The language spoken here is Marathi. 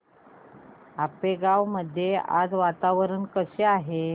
आपेगाव मध्ये आज वातावरण कसे आहे